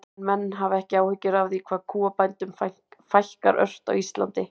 En hafa menn ekki áhyggjur af því hvað kúabændum fækkar ört á Íslandi?